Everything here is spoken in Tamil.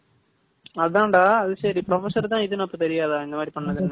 அதான்டா அது சரி professor தான் இதுனு தெரியாதா?